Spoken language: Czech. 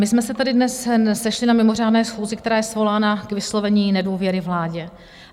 My jsme se tady dnes sešli na mimořádné schůzi, která je svolána k vyslovení nedůvěry vládě.